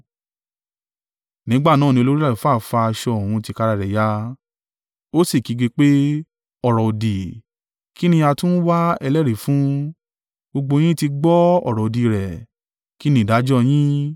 Nígbà náà ni olórí àlùfáà fa aṣọ òun tìkára rẹ̀ ya. Ó sì kígbe pé, “Ọ̀rọ̀-òdì! Kí ni a tún ń wá ẹlẹ́rìí fún? Gbogbo yín ti gbọ́ ọ̀rọ̀-òdì rẹ̀. Kí ni ìdájọ́ yín?”